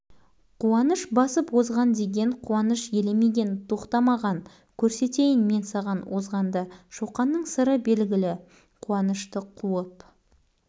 қуаныш сыныпқа кірген соң қояр деп екпінін басқан жоқ шоқан өйтпеді қуаныштың көк желкесі зірк ете